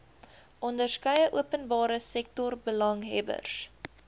onderskeie openbare sektorbelanghebbers